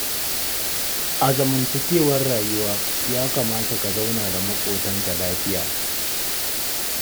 A zamantakewar rayuwa ya kamata ka zauna da maƙotanka lafiya.